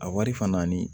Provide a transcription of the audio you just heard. A wari fana ni